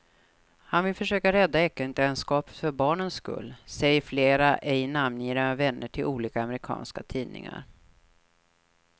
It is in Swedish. Han vill försöka rädda äktenskapet för barnens skull, säger flera ej namngivna vänner till olika amerikanska tidningar.